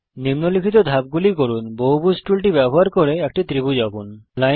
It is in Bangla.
নিম্নলিখিত ধাপগুলি করুন বহুভুজ পলিগন টুলটি ব্যবহার করে একটি ত্রিভুজ আঁকুন